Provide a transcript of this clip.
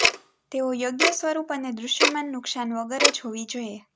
તેઓ યોગ્ય સ્વરૂપ અને દૃશ્યમાન નુકસાન વગર જ હોવી જોઈએ